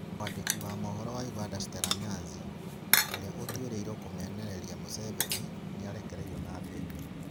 Mwandĩki wa mohoro wa Uganda Stella Nyanzi, ũrĩa ũtuĩrĩirwo kũmenereria Museveni, nĩ arekereirio na bail